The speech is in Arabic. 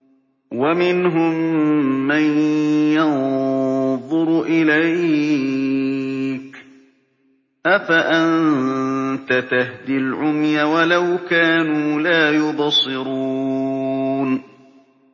وَمِنْهُم مَّن يَنظُرُ إِلَيْكَ ۚ أَفَأَنتَ تَهْدِي الْعُمْيَ وَلَوْ كَانُوا لَا يُبْصِرُونَ